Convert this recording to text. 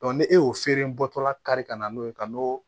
ne e y'o feere bɔtɔla kari ka na n'o ye ka n'o